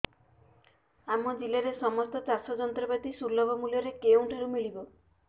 ଆମ ଜିଲ୍ଲାରେ ସମସ୍ତ ଚାଷ ଯନ୍ତ୍ରପାତି ସୁଲଭ ମୁଲ୍ଯରେ କେଉଁଠାରୁ ମିଳିବ